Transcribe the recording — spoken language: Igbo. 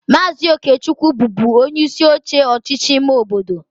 Maazị Okechukwu bụbu onyeisi oche ọchịchị ime obodo